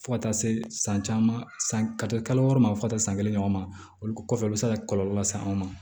Fo ka taa se san caman ka to kalo wɔɔrɔ ma fo ka taa san kelen ɲɔgɔn ma olu kɔfɛ u bɛ se ka kɔlɔlɔ lase anw ma